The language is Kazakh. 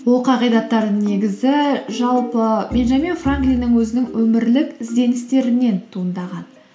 ол негізі жалпы бенджамин франклиннің өзінің өмірлік ізденістерінен туындаған